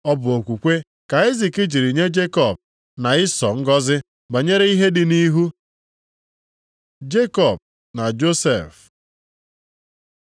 Ọ bụ okwukwe ka Aịzik jiri nye Jekọb na Ịsọ ngọzị banyere ihe dị nʼihu. Jekọb na Josef